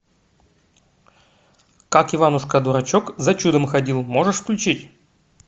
как иванушка дурачок за чудом ходил можешь включить